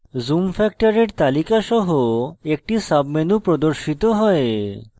zoom ফ্যাক্টরের তালিকা সহ একটি submenu প্রর্দশিত হয়